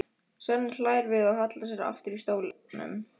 Svenni hlær við og hallar sér aftur í stólnum.